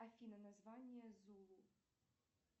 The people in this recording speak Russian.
афина название зулу